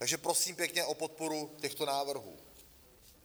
Takže prosím pěkně o podporu těchto návrhů.